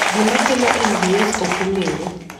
Gima kelo MDS ok ong'ere.